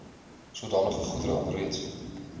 sodanige goedere alreeds